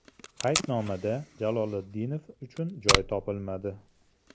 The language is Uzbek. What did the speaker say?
Qaydnomada Jaloliddinov uchun joy topilmadi.